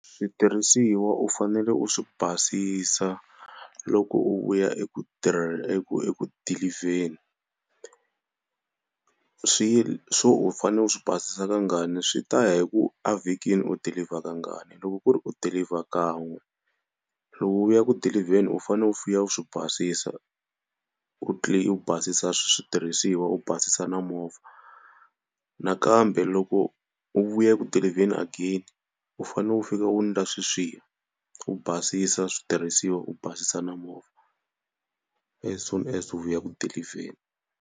Switirhisiwa u fanele u swi basisa loko u vuya eku eku eku dilivheni swi swo u fanele u swi basisa kangani swi ta ya hi ku a vhikini u dilivha kangani, loko ku ri u dilivha kan'we lowu u ya ku dilivheni u fanele u fika u swi basisa u u basisa switirhisiwa u basisa na movha, nakambe loko u vuya eku dilivheni again u fanele u fika u ndla sweswiya u basisa switirhisiwa u basisa na movha as soon as u ya ku dilivheni.